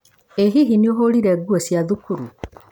ĩ hihi nĩũhũrire nguo cia cukuru?